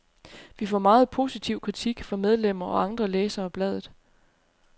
Vi får meget positiv kritik fra medlemmer og andre læsere af bladet.